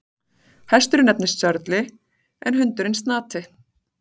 Hesturinn nefnist Sörli en hundurinn Snati.